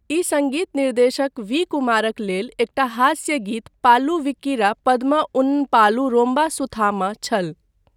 ई सङ्गीत निर्देशक वी. कुमारक लेल एकटा हास्य गीत पालू विक्किरा पद्मा उन पालू रोम्बा सुथहामा छल।